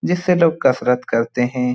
जिससे लोग कसरत करते हे ।